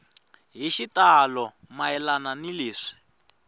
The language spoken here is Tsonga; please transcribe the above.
hi xitalo mayelana ni leswi